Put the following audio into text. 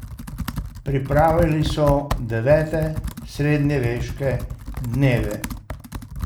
Pripravili so Devete Srednjeveške dneve.